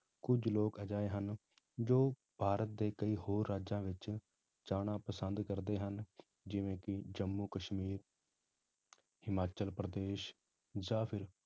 ਕੁੱਝ ਲੋਕ ਅਜਿਹੇ ਹਨ, ਜੋ ਭਾਰਤ ਦੇ ਕਈ ਹੋਰ ਰਾਜਾਂ ਵਿੱਚ ਜਾਣਾ ਪਸੰਦ ਕਰਦੇ ਹਨ, ਜਿਵੇਂ ਕਿ ਜੰਮੂ ਕਸ਼ਮੀਰ ਹਿਮਾਚਲ ਪ੍ਰਦੇਸ਼ ਜਾਂ ਫਿਰ